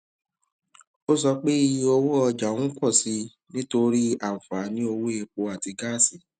o so pe iye owo oja n pọ si i nitori anfaani owo epo ati gaasi